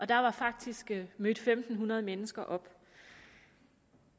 der var faktisk mødt fem hundrede mennesker op